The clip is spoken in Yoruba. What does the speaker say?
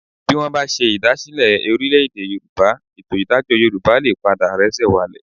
Bí wọ́n bá ṣe ìdásílẹ̀ Orílè-èdè Yorùbá, ètò ìdájọ́ Yorùbá lè padà rẹ́sẹ̀ walẹ̀